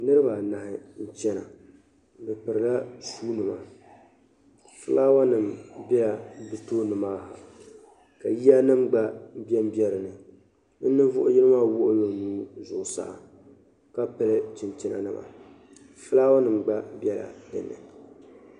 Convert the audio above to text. Niribi anahi n chana bɛ piila shi nima, flawanim bela bɛ tooni maa , ka yiya nim gba ben be dini bɛ ninvuɣi yinɔ wuɣila ɔnuu zuɣu saa ka pili chinchina nima flawa nim gba bela dini